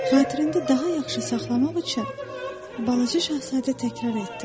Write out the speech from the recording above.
Xatirində daha yaxşı saxlamaq üçün balaca Şahzadə təkrar etdi.